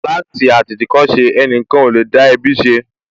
Láti àtìtìkọ́ṣe, ẹnìkan ò lè dá ẹbí ṣe